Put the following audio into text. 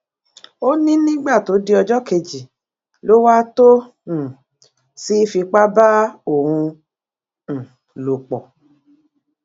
ó ní nígbà tó di ọjọ kejì ló wà tó um sì fipá bá òun um lò pọ